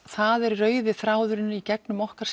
það er rauði þráðurinn í gegnum okkar